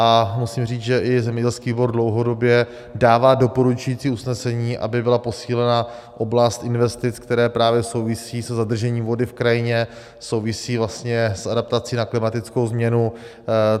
A musím říct, že i zemědělský výbor dlouhodobě dává doporučující usnesení, aby byla posílena oblast investic, které právě souvisí se zadržením vody v krajině, souvisí vlastně s adaptací na klimatickou změnu.